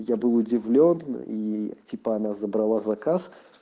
я был удивлён и типа она забрала заказ